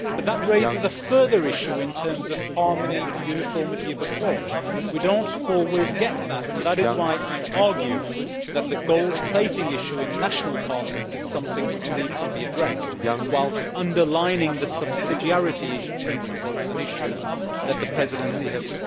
However, that raises a further issue in terms of harmony and uniformity of approach. We do not always get that, and that is why I argue that the gold plating' issue in national parliaments is something which needs to be addressed, whilst underlining the subsidiarity principles and issues that the Presidency has